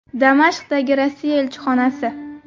Damashqdagi Rossiya elchixonasi.